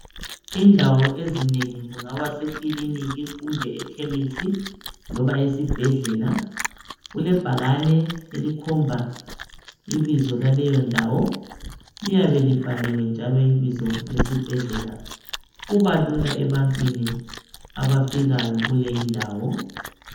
Indawo ezinengi kungaba kusekiliniki kumbe ekhemesi loba esibhedlela, kulebhakani elikhomba ibizo laleyo ndawo. Liyabe libhaliwe njalo ibizo lesibhedlela. Kubalula ebantwini abafikayo kuleyi ndawo.